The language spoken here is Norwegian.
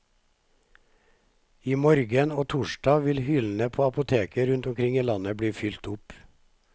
I morgen og torsdag vil hyllene på apotek rundt omkring i landet bli fylt opp.